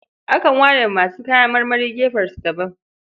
Akan ware wa masu kayan marmari gefensu daban.